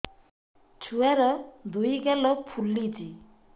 ଛୁଆର୍ ଦୁଇ ଗାଲ ଫୁଲିଚି